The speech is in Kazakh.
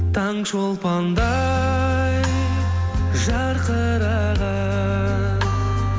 таңшолпандай жарқыраған